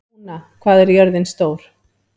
Úna, hvað er jörðin stór?